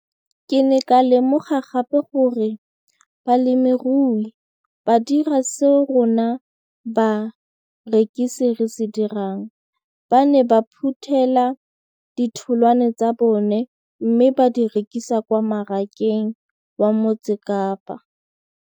Ke ne ka lemoga gape gore balemirui ba dira seo rona barekisi re se dirang ba ne ba phuthela ditholwana tsa bona mme ba di rekisa kwa marakeng wa Motsekapa.